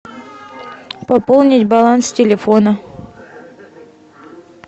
пополнить баланс телефона